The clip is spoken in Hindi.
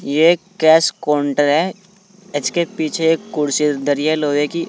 ये एक कैश कोंटर है इसके पीछे एक कुर्सी धरी लोहे की--